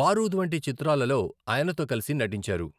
బారూద్ వంటి చిత్రాలలో ఆయనతో కలిసి నటించారు.